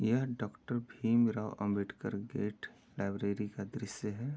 यहाँ doctor Bhimrao Ambedkar gate library का दृश्य है।